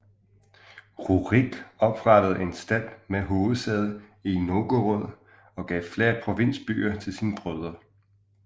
Rurik oprettede en stat med hovedsæde i Novgorod og gav flere provinsbyer til sine brødre